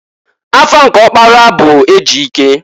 Afa nke ọkpara bu Ejike.